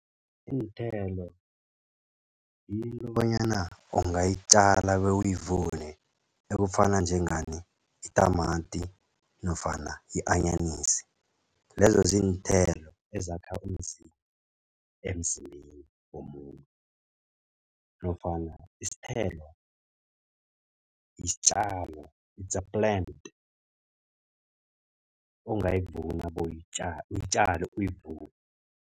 Iinthelo yinto bonyana ungayitjala bewuyivune, okufana njengani? Itamati nofana i-anyanisi. Lezo ziinthelo ezakha umzimba, emzimbeni womuntu. Nofana isithelo yisitjalo its plant ongayivuna bowuyitjale uyitjale uyivune.